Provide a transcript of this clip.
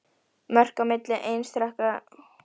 Mörk á milli einstakra laga nefnast lagamót.